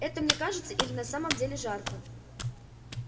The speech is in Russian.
это мне кажется или на самом деле жарко